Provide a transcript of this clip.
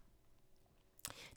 DR1